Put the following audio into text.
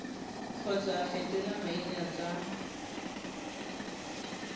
kgotsa go fetola maina tsa